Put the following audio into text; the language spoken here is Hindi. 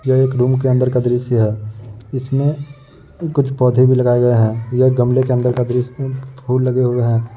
ये एक रूम के अन्दर का दृश्य है। इसमें कुछ पौधे भी लगाए गए हैं। ये गमले के अन्दर का दृश्य फूल लगे हुए हैं।